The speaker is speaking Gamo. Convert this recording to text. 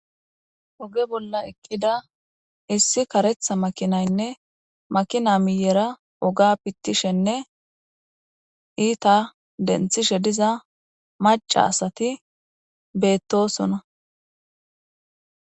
Ogga bolla eqqidda issi kaaretha makinaynne makina miyera ogga pithishshenne itta denththishe dizza macca assathi bethossona.